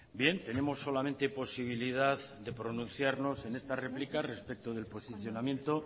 bien tenemos solamente posibilidad de pronunciarnos en esta réplica respecto del posicionamiento